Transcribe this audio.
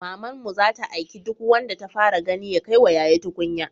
Mamanmu zata aiki duk wanda ta fara gani ya kaiwa yaya tukunya